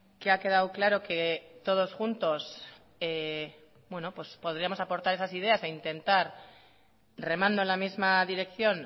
que ha quedado claro que todos juntos podríamos aportar esas ideas e intentar remando en la misma dirección